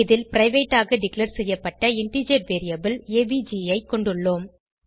இதில் பிரைவேட் ஆக டிக்ளேர் செய்யப்பட்ட இன்டிஜர் வேரியபிள் ஏவிஜி ஐ கொண்டுள்ளோம்